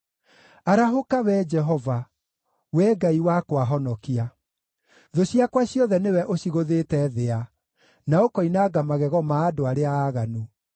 Arahũka, Wee Jehova! Wee Ngai wakwa, honokia! Thũ ciakwa ciothe nĩwe ũcigũthĩte thĩa, na ũkoinanga magego ma andũ arĩa aaganu.